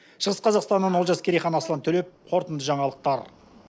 шығыс қазақстаннан олжас керейхан аслан төлеп қорытынды жаңалықтар